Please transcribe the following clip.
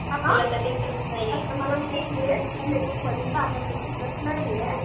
आं? मला माहिती ये तुला मेकअपमध्ये इंटरेस्ट नाहीये